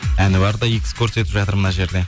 әнуар да икс көрсетіп жатыр мына жерде